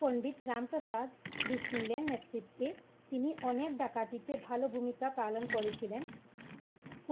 পণ্ডিত Ramprasad Bismil নেতৃত্বে তিনি অনেক ডাকাটি তে ভালো ভূমিকা পালন করেছিলেন।